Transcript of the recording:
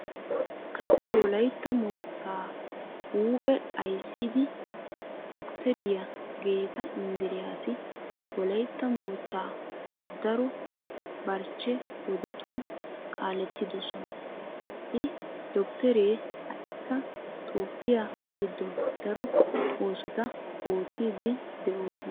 Kase wolaytta moottaa huuphe ayssida doktteriya geeta inddiraasi wolaytta moottaa daro barchche wodetun kaalettidosona. H doktteree ha"ikka toophphiya giddon daro oosota oottiiddi de'oosona.